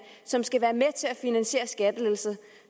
som skal være med til at finansiere skattelettelser